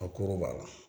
A koro b'a la